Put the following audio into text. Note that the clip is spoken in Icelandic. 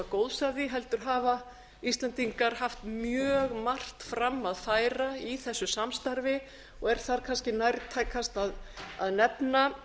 góðs af því heldur hafa íslendingar haft mjög margt fram að færa í þessu samstarfi og er þar kannski nærtækast að nefna